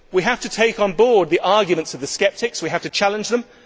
We have to take on board the arguments of the sceptics and we have to challenge them.